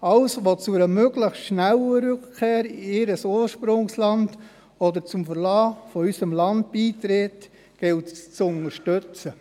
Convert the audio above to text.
Alles, was zu einer möglichst schnellen Rückkehr in ihr Ursprungsland oder zum Verlassen unseres Landes beiträgt, gilt es zu unterstützen.